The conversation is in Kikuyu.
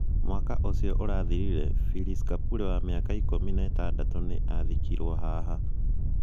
Mwaka ũcio ũrathirire, Phylis Kapule wa mĩaka ikũmi na ĩtandatũ nĩ aathikirũo haha.